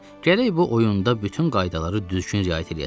Gərək bu oyunda bütün qaydalara düzgün riayət eləyəsən.